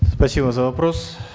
спасибо за вопрос